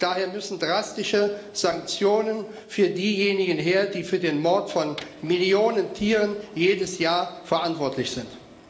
Daher müssen drastische Sanktionen für diejenigen her, die für den Mord von Millionen Tieren jedes Jahr verantwortlich sind.